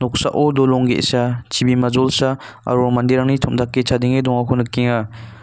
oksao dolong ge·sa chibima jolsa aro manderangni tom·dake chadenge dongako nikenga.